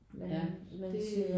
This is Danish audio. Ja det er